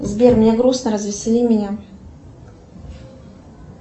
сбер мне грустно развесели меня